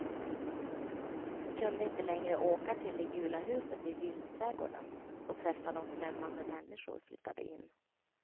Vi kunde inte längre åka till det gula huset i vildträdgården och träffa dom, främmande människor flyttade in.